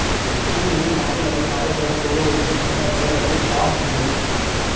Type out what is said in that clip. கூகிளில் மக்கள் அதிகமாக தேடக்கூடிய ஒரு விஷயம் என்னவென்றால் அது பார்ன் வீடியோஸ்